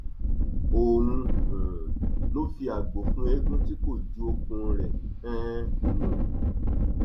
òun um ló fi àgbò fún eegun tí kò ju okùn rẹ um nù